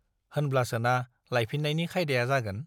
होनब्लासोना लायफिन्नायनि खायदाया जागोन।